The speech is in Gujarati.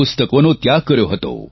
પુસ્તકોનો ત્યાગ કર્યો હતો